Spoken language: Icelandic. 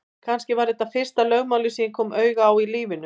Kannski var þetta fyrsta lögmálið sem ég kom auga á í lífinu.